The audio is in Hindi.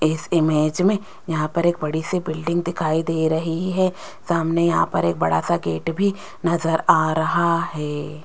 इस इमेज में यहां पर एक बड़ी सी बिल्डिंग दिखाई दे रही है सामने यहां पर एक बड़ा सा गेट भी नजर आ रहा है।